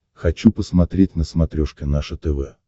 хочу посмотреть на смотрешке наше тв